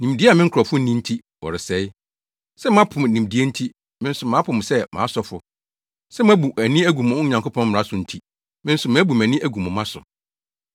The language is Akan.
Nimdeɛ a me nkurɔfo nni nti wɔresɛe. “Sɛ moapo nimdeɛ nti, me nso mapo mo sɛ mʼasɔfo; sɛ moabu mo ani agu mo Nyankopɔn mmara so nti, me nso mabu mʼani agu mo mma so.